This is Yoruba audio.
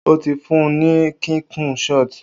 O ti fun ni kikun shot.